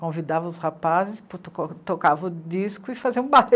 Convidava os rapazes, tocava o disco e fazia um baile.